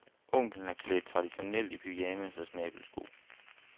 Onklen er klædt traditionelt i pyjamas og snabelsko.